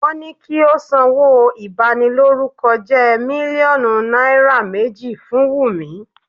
Wọ́n ni kí ó sanwó ìbanilórúkọjẹ́ mílíọ̀nù náírà méjì fún Wùmí.